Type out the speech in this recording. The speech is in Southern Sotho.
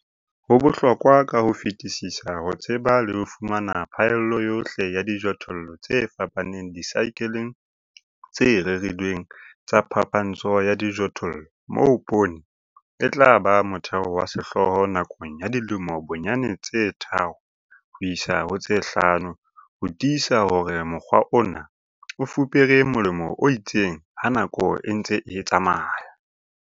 Ho bohlokwa ka ho fetisisa ho tseba le ho fumana phaello yohle ya dijothollo tse fapaneng disaekeleng tse rerilweng tsa phapantsho ya dijothollo moo poone e tla ba motheo wa sehlooho nakong ya dilemo bonyane tse tharo ho isa ho tse hlano ho tiisa hore mokgwa ona o fupere molemo o itseng ha nako e ntse e tsamaya.